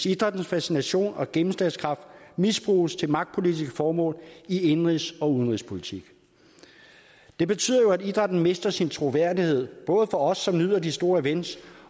idrættens fascination og gennemslagskraft misbruges til magtpolitiske formål i indenrigs og udenrigspolitik det betyder jo at idrætten mister sin troværdighed både for os som nyder de store events